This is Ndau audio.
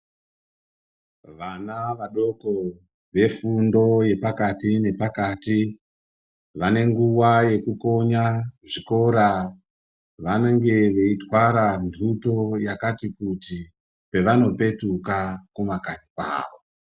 Vana vadoko vefundo yepakati nepakati vanenguva yekukonya zvikora. Vanenge veitwara nhutu yakati kuti pavanopetuka kumakanyi kwavo.